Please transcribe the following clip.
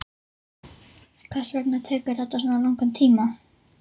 En hvers vegna tekur þetta svona langan tíma?